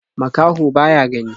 Makaho ba ya gani.